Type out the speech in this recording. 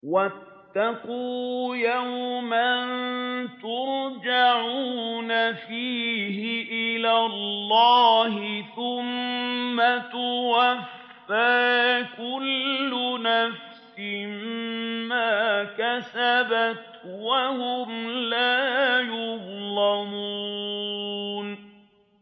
وَاتَّقُوا يَوْمًا تُرْجَعُونَ فِيهِ إِلَى اللَّهِ ۖ ثُمَّ تُوَفَّىٰ كُلُّ نَفْسٍ مَّا كَسَبَتْ وَهُمْ لَا يُظْلَمُونَ